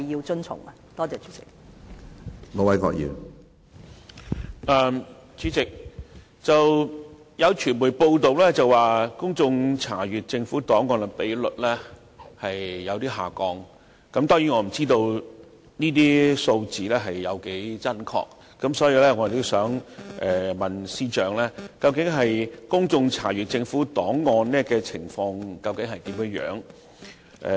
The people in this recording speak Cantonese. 主席，有傳媒報道公眾查閱政府檔案的比率有所下降，當然，我不知道這些數字的真確程度，所以，我想問問司長，究竟公眾查閱政府檔案的情況如何？